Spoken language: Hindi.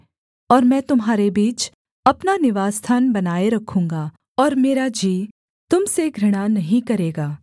और मैं तुम्हारे बीच अपना निवासस्थान बनाए रखूँगा और मेरा जी तुम से घृणा नहीं करेगा